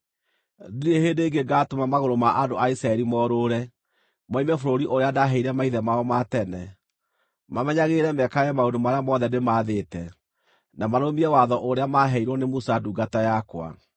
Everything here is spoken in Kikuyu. Ndirĩ hĩndĩ ĩngĩ ngaatũma magũrũ ma andũ a Isiraeli morũũre, moime bũrũri ũrĩa ndaaheire maithe mao ma tene, mamenyagĩrĩre mekage maũndũ marĩa mothe ndĩmathĩte, na marũmie Watho ũrĩa maaheirwo nĩ Musa ndungata yakwa.”